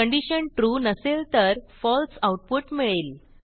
condition trueनसेल तर फळसे आऊटपुट मिळेल